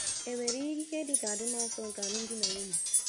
E nwere ihe dị ka adịmasọ nke alụmdi na nwunye?